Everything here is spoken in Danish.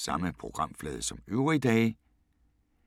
Samme programflade som øvrige dage